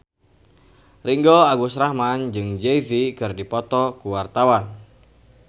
Ringgo Agus Rahman jeung Jay Z keur dipoto ku wartawan